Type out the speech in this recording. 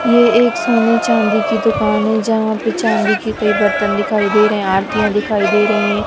ये एक सोने चांदी की दुकान है जहां पे चांदी के कई बर्तन दिखाई दे रहे है आरतियां दिखाई दे रही है।